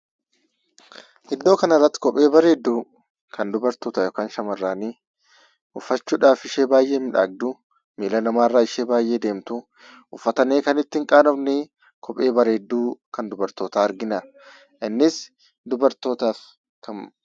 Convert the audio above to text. Iddoo kanarratti kophee bareedduu kan dubartoota yookaan shamarranii uffachuudhaaf ishee baay'ee miidhagduu, miila namaarraa ishee baay'ee deemtuu, uffatanii kan ittin qaanofnee, kophee bareedduu kan dubartootaa argina. Innis dubartootaaf kamiif?